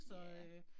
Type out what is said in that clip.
Ja